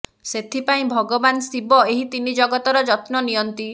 ସେଥିପାଇଁ ଭଗବାନ ଶିବ ଏହି ତିନି ଜଗତର ଯତ୍ନ ନିଅନ୍ତି